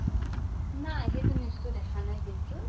নাই সেইটো news তো দেখা নাই কিন্তু